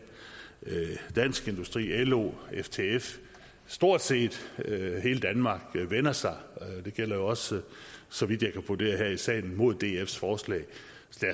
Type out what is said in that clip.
dansk industri lo ftf stort set hele danmark vender sig det gælder jo også så vidt jeg kan vurdere her i salen imod dfs forslag